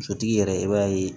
Sotigi yɛrɛ i b'a ye